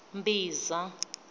mbhiza